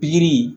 Pikiri